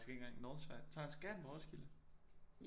Måske ikke engang Northside tager skal han på Roskilde